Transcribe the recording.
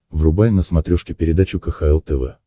врубай на смотрешке передачу кхл тв